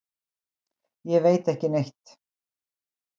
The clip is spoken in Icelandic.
Ég veit ekki neitt.